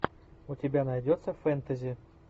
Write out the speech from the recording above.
у тебя найдется фэнтези